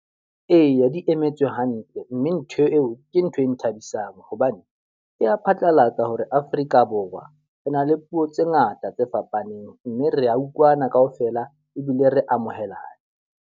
Eya, di emetswe hantle. Mme ntho eo ke ntho e nthabisang hobane di phatlalatsa hore Afrika Borwa re na le puo tse ngata tse fapaneng. Mme re utlwana ka ofela ebile re amohelane.